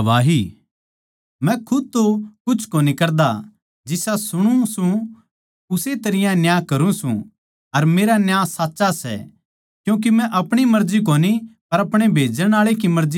मै खुद तो कुछ कोनी कर सकदा जिसा सुणु सूं उस्से तरियां न्याय करूँ सूं अर मेरा न्याय साच्चा सै क्यूँके मै अपणी मर्जी कोनी पर अपणे भेजण आळे की मर्जी चाऊँ सूं